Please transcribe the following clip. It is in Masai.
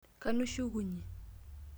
Kanu ishukunye?